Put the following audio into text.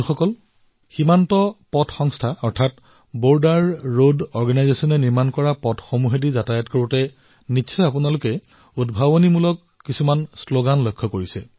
বন্ধুসকল আপোনালোকে মন কৰিছে বৰ্ডাৰ ৰোড Organisationয়ে যি পথ নিৰ্মাণ কৰে সেয়া অতিক্ৰম কৰোঁতে আপোনালোকে বিভিন্ন ধৰণৰ শ্লগান পৰিলক্ষিত কৰে